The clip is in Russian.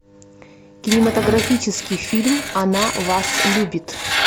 кинематографический фильм она вас любит